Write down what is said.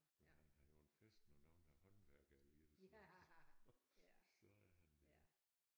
Men han har jo en fest når nogen har håndværkere i deres hus så er han der